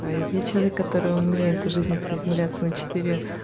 ээ я человек который умеет в жизни приземляться на четыре